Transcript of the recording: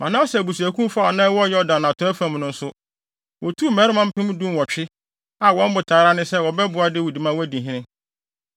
Manase abusuakuw fa a na ɛwɔ Yordan atɔe fam no nso, wotuu mmarima mpem dunwɔtwe (18,000) a wɔn botae ara ne sɛ wɔbɛboaa Dawid ma wadi hene.